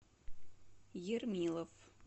ермилов